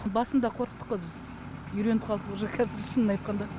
басында қорықтық қой біз үйреніп қалдық уже кәзір шынын айтқанда